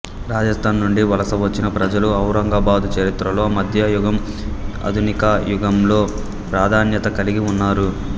రాజస్థాన్ నుండి వలస వచ్చిన ప్రజలు ఔరంగాబాదు చరిత్రలో మద్యయుగం ఆధునిక యుగంలో ప్రధాన్యత కలిగి ఉన్నారు